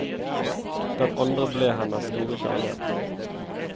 Den andre ble hennes store kjærlighet.